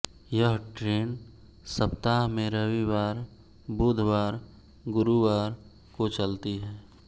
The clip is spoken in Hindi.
यह ट्रेन सप्ताह में रविवार बुधवार गुरुवार को चलती है